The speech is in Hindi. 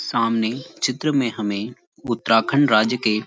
सामने चित्र में हमें उत्तराखंड राज्य के --